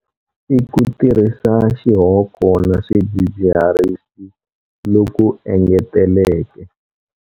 l Ku tirhisa xihoko na swidzidziharisi loku engeteleke.